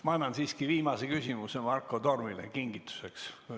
Ma annan siiski viimase küsimuse Marko Tormile kingituseks.